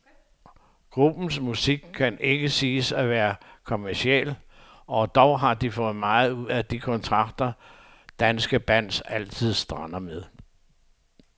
Gruppens musik kan ikke siges at være kommerciel, og dog har de fået meget ud af de kontrakter, danske bands altid strander med.